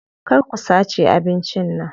Kar ku sace abincin nan.